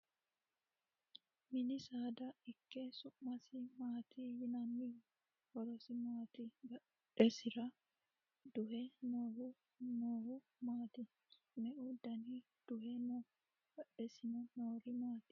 Mini saada ikke su'masi maati yinanniho? Horosi maati? Badhesira duhe noohu noohu maati? Me"e dana duhe no? Badhesiinni noori maati?